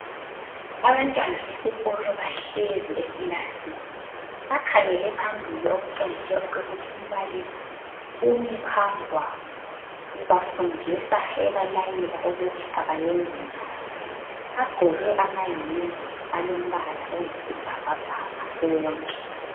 Abantwana besikolo bahlezi ekilasini. Bakhangele phambili okutshengisela ukuthi umbalisi umi phambi kwabo ubafundisa ebalayela ukuthi abayenze njani. Bagqoke amahembe alombala oyisibhakabhaka bonke.